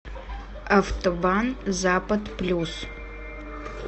автобан запад плюс